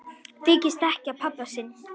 Þykist ekki þekkja pabba sinn!